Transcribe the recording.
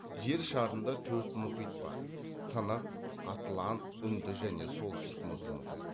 жер шарында төрт мұхит бар тынық атлант үнді және солтүстік мұзды мұхит